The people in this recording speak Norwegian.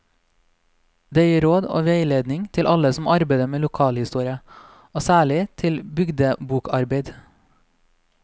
Det gir råd og veiledning til alle som arbeider med lokalhistorie, og særlig til bygdebokarbeid.